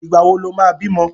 Ìgbà wo lo ma bímọ?